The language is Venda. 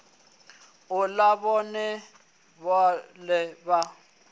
u ḽa vhone vhaṋe a